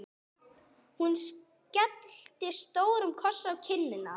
Hún skellti stórum kossi á kinnina á